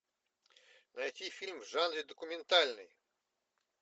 найти фильм в жанре документальный